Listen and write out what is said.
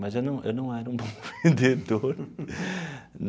Mas eu não eu não era um bom vendedor.